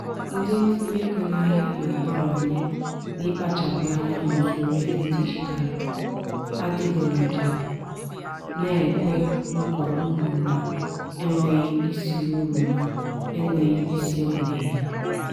ndị ntinye ego n'ahịa na-abawanye n'ịkpachapụ anya n'usoro ego dijitalụ adịgboloja na-ekwe nkwa uru na-enweghị isi uru na-enweghị isi ọ na-enye.